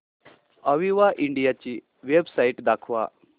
Aviva India ची website दाखवा